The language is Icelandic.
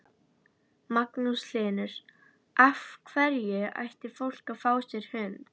Magnús Hlynur: Af hverju ætti fólk að fá sér hund?